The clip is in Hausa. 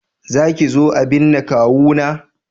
Za ki zo a binne kawuna?